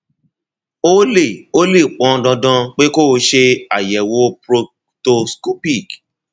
ó lè ó lè pọn dandan pé kó o ṣe àyẹwò proctoscopic